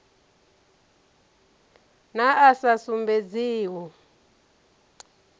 na a sa sumbedzi u